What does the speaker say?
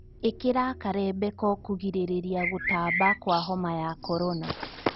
Ĩkĩra karembeko kũgirĩrĩa gũtamba kwa homa ya korona